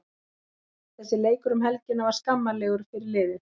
Þessi leikur um helgina var skammarlegur fyrir liðið.